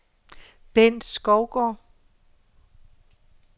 Bent Skovgaard